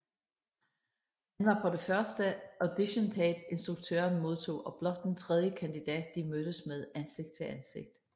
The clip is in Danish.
Han var på det første auditiontape instruktøren modtog og blot den tredje kandidat de mødtes med ansigt til ansigt